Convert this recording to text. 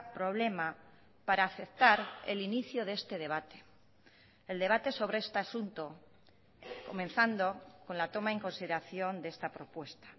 problema para aceptar el inicio de este debate el debate sobre este asunto comenzando con la toma en consideración de esta propuesta